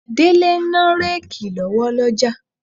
Délé ń ná réèkì lọ́wọ́ lọ́jà.